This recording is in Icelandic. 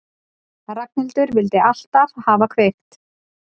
Ragnhildur vildi alltaf hafa kveikt.